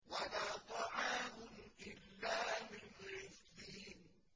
وَلَا طَعَامٌ إِلَّا مِنْ غِسْلِينٍ